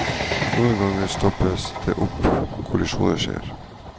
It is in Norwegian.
Noen ganger stopper det opp, kollisjoner skjer.